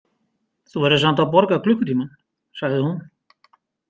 Þú verður samt að borga klukkutímann, sagði hún.